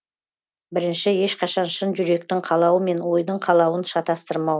бірінші ешқашан шын жүректің қалауы мен ойдың қалауын шатастырмау